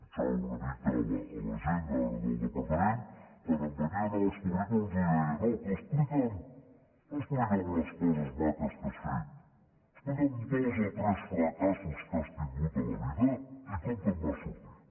fixava una mica a la gent ara del departament quan em venien amb els currículums jo els deia no tu explica’m les coses maques que has fet explica’m dos o tres fracassos que has tingut a la vida i com te’n vas sortir